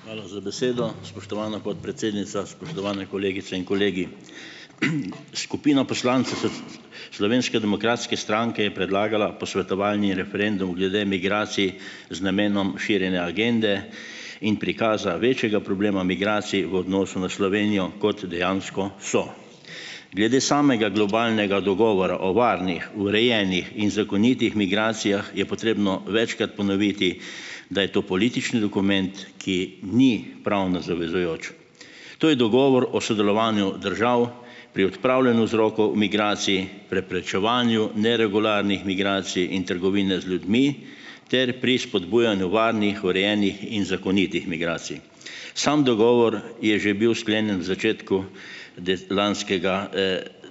Hvala za besedo. Spoštovana podpredsednica, spoštovane kolegice in kolegi! Skupina Slovenske demokratske stranke je predlagala posvetovalni referendum glede migracij z namenom širjenja agende in prikaza večjega problema migracij v odnosu na Slovenijo, kot dejansko so. Glede samega globalnega dogovora o varnih, urejenih in zakonitih migracijah je potrebno večkrat ponoviti, da je to politični dokument, ki ni pravno zavezujoč. To je dogovor o sodelovanju držav pri odpravljanju vzrokov migracij, preprečevanju neregularnih migracij in trgovine z ljudmi ter pri spodbujanju varnih, urejenih in zakonitih migracij. Sam dogovor je že bil sklenjen v začetku lanskega,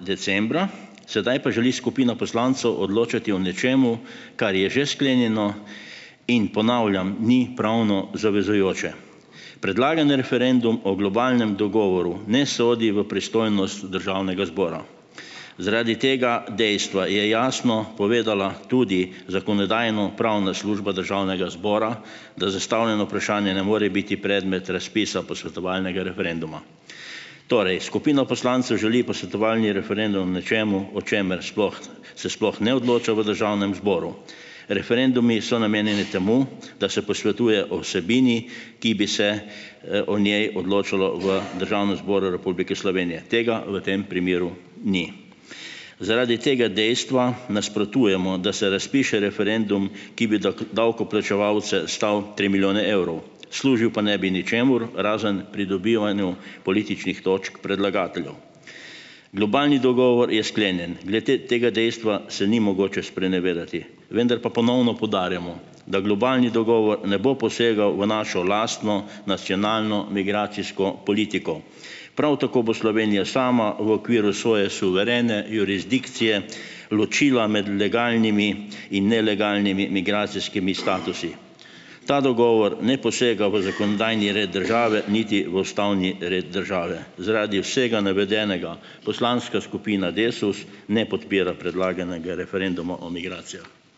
decembra, sedaj pa želi skupina poslancev odločati o nečem, kar je že sklenjeno, in ponavljam, ni pravno zavezujoče. Predlagan referendum o globalnem dogovoru ne sodi v pristojnost državnega zbora. Zaradi tega dejstva je jasno povedala tudi Zakonodajno-pravna služba državnega zbora, da zastavljeno vprašanje ne more biti predmet razpisa posvetovalnega referenduma. Torej, skupina poslancev želi posvetovalni referendum o nečem, o čemer sploh se sploh ne odloča v državnem zboru. Referendumi so namenjeni temu, da se posvetuje o vsebini, ki bi se, o njej odločalo v Državnem zboru Republike Slovenije. Tega v tem primeru ni. Zaradi tega dejstva nasprotujemo, da se razpiše referendum, ki bi davkoplačevalce stal tri milijone evrov, služil pa ne bi ničemur razen pridobivanju političnih točk predlagateljev. Globalni dogovor je sklenjen. Glede tega dejstva se ni mogoče sprenevedati, vendar pa ponovno poudarjamo, da globalni dogovor ne bo posegal v našo lastno nacionalno migracijsko politiko. Prav tako bo Slovenija sama v okviru svoje suverene jurisdikcije ločila med legalnimi in nelegalnimi migracijskimi statusi . Ta dogovor ne posega v zakonodajni red države niti v ustavni red države. Zaradi vsega navedenega poslanska skupina Desus ne podpira predlaganega referenduma o